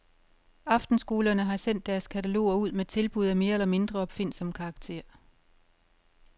Aftenskolerne har sendt deres kataloger ud med tilbud af mere eller mindre opfindsom karakter.